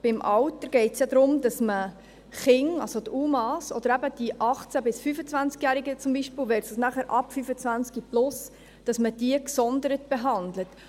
Beim Alter geht es ja darum, dass man Kinder, also die UMA, oder eben die 18- bis 25-Jährigen zum Beispiel, versus nachher ab 25 plus, gesondert behandelt.